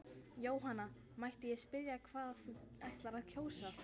Jóhanna: Mætti ég spyrja hvað þú ætlar að kjósa?